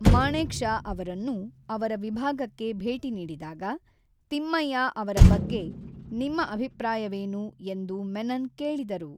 ಮಾಣೆಕ್ ಷಾ ಅವರನ್ನು, ಅವರ ವಿಭಾಗಕ್ಕೆ ಭೇಟಿ ನೀಡಿದಾಗ, ತಿಮ್ಮಯ್ಯ ಅವರ ಬಗ್ಗೆ ನಿಮ್ಮ ಅಭಿಪ್ರಾಯವೇನು ಎಂದು ಮೆನನ್ ಕೇಳಿದರು.